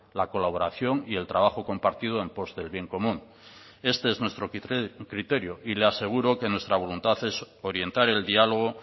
la colaboración y el trabajo compartido en post del bien común este es nuestro criterio y le aseguro que nuestra voluntad es orientar el diálogo